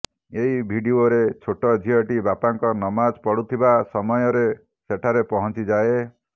ଏହି ଭିଡିଓରେ ଛୋଟ ଝିଅଟି ବାପାଙ୍କ ନମାଜ୍ ପଢୁଥିବା ସମୟରେ ସେଠାରେ ପହଂଚି ଯାଏ